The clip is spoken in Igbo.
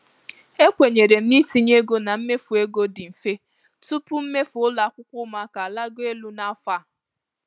Ekwenyere m na itinye ego na mmefu ego dị mfe tupu mmefu ụlọ akwụkwọ ụmụaka alaguo elu n'afọ a.